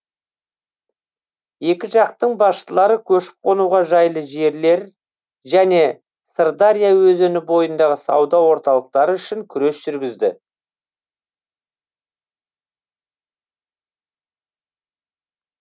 екі жақтың басшылары көшіп қонуға жайлы жерлер және сырдария өзені бойындағы сауда орталықтары үшін күрес жүргізді